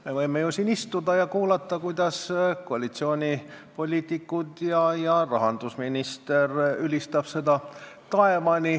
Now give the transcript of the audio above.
Me võime ju siin istuda ja kuulata, kuidas koalitsioonipoliitikud ja rahandusminister seda taevani ülistavad.